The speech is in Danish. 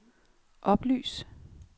oplys